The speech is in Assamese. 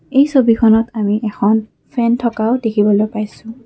এই ছবিখনত আমি এখন ফেন থকাও দেখিবলৈ পাইছোঁ।